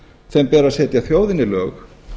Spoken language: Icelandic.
þeim ber að setja þjóðinni lög